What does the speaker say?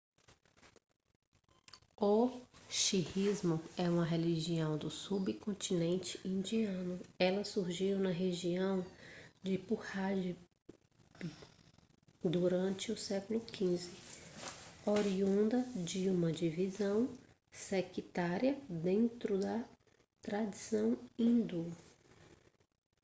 o sikhismo é uma religião do subcontinente indiano ela surgiu na região de punjab durante o século 15 oriunda de uma divisão sectária dentro da tradição hindu